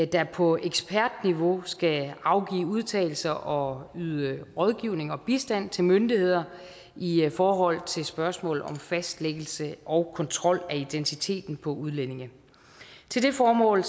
der på ekspertniveau skal afgive udtalelser og yde rådgivning og bistand til myndigheder i forhold til spørgsmål om fastlæggelse og kontrol af identiteten på udlændinge til det formål